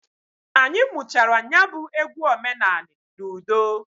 Anyị muchara nya bụ egwu omenanị n'udo.